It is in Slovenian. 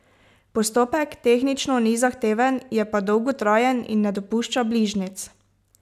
Postopek tehnično ni zahteven, je pa dolgotrajen in ne dopušča bližnjic.